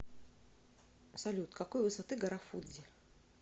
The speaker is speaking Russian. салют какой высоты гора фудзи